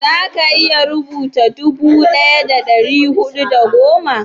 za ka iya rubuta dubu daya da dari hudu da goma?